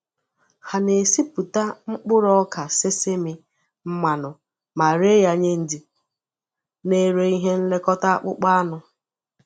Ha na-esipụta mkpụrụ ọka sesame mmanụ ma ree ya nye ndị na-ere ihe nlekọta akpụkpọ anụ.